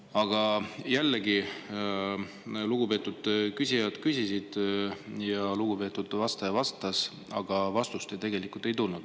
Aga jällegi, lugupeetud küsijad küsisid ja lugupeetud vastaja vastas, aga vastust tegelikult ei tulnud.